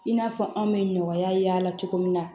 I n'a fɔ anw bɛ nɔgɔya y'a la cogo min na